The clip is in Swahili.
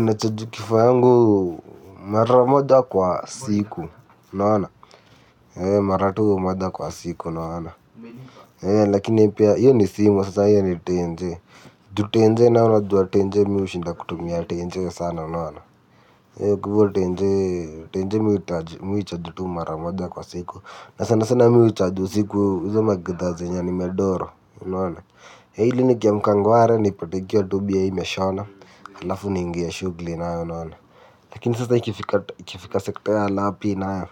Nachaji kifaa yangu mara moja kwa siku unaona. Mara tu mara moja kwa siku unaona. Lakini pia hio ni simu sasa hio ni tenje. Ju tenje nayo unajua tenje mimi hushinda kutumia tenje sana unaona. Kwa hivyo tenje mimi huicharg emara moja kwa siku. Na sanasana mimi huicharge usiku sana sana hizo magidhaa nimedoro unaona ili nikiamka ngware nipate ikiwa tu bie ime shona halafu naingia shughuli nayo unona. Lakini sasa ikfika sekta ya lapi nayo.